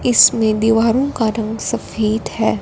इसमें दीवारों का रंग सफेद है।